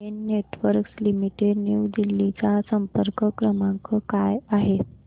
Den Networks Limited New Delhi चा संपर्क क्रमांक काय आहे